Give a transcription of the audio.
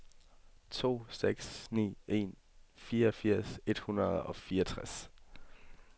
to seks ni en fireogfirs et hundrede og fireogtres